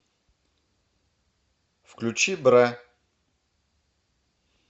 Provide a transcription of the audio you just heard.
включи бра